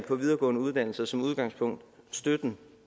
på videregående uddannelser som udgangspunkt støtten